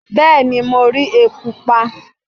Bẹẹni mo ri eku pa